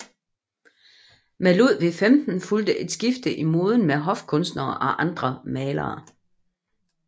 Med Ludvig 15 fulgte et skifte i moden for hofkunstnerne og andre malere